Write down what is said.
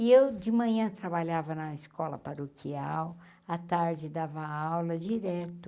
E eu, de manhã, trabalhava na escola paroquial, a tarde dava aula direto.